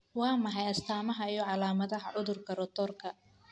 Waa maxay astamaha iyo calaamadaha cudurka Rotorka?